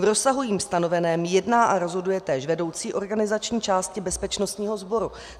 V rozsahu jím stanoveném jedná a rozhoduje též vedoucí organizační části bezpečnostního sboru.